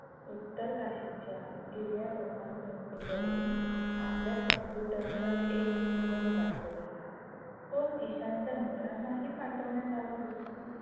उत्तर काशीच्या गिर्यारोहण संस्थेकडून आपल्या काम्पुटर वर एक इमेल प्राप्त झाला तो ईशानच्या मित्रांनाही पाठवण्यात आला होता.